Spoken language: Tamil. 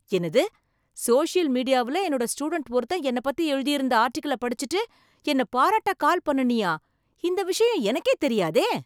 என்னது, சோசியல் மீடியாவுல என்னோட ஸ்டூடண்ட் ஒருத்தன் என்னை பத்தி எழுதியிருந்த ஆர்ட்டிகிளைப் படிச்சுட்டு என்னை பாராட்ட கால் பண்ணுனியா? இந்த விஷயம் எனக்கே தெரியாதே!